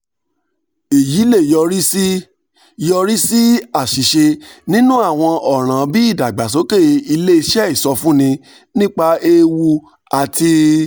èyí lè yọrí lè yọrí sí àṣìṣe nínú àwọn ọ̀ràn bí ìdàgbàsókè ilé iṣẹ́ ìsọfúnni nípa ewu àti